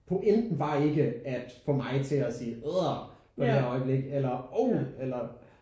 Pointen var ikke at få mig til at sige ad for det der øjeblik eller oh eller